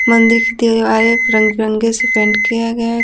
मंदिर की दिवारे रंग बिरंगे से पेंट किया गया है।